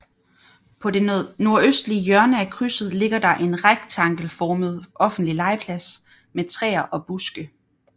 På det nordøstlige hjørne af krydset ligger der en rektangelformet offentlig legeplads med træer og buske